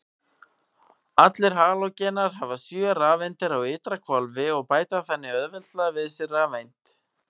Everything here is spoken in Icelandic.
Allir halógenar hafa sjö rafeindir á ytra hvolfi og bæta þannig auðveldlega við sig rafeind.